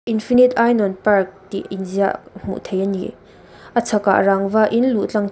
infinite ainawn park tih inziah hmuh theih a ni a chhakah rangva in luh tlang theih--